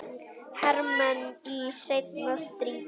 hermenn í seinna stríði.